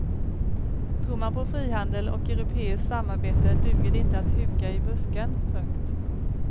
Tror man på frihandel och europeiskt samarbete duger det inte att huka i busken. punkt